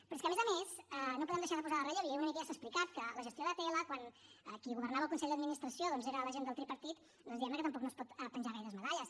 però és que a més a més no podem deixar de posar en relleu i una mica ja s’ha explicat que la gestió d’atll quan qui governava el consell d’administració doncs era la gent del tripartit diguem ne que tampoc no es pot penjar gaires medalles